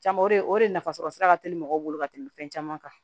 Caman o de o de nafasɔrɔsira ka teli mɔgɔw bolo ka tɛmɛ fɛn caman kan